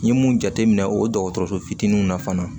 N ye mun jate minɛ o dɔgɔtɔrɔso fitininw na fana